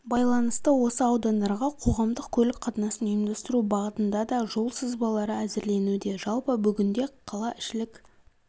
байланысты осы аудандарға қоғамдық көлік қатынасын ұйымдастыру бағытында да жол сызбалары әзірленуде жалпы бүгінде қалаішілік